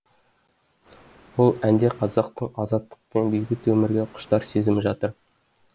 ол әнде қазақтың азаттық пен бейбіт өмірге құштар сезімі жатыр